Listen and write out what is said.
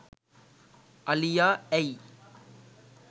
අලියා ඇයි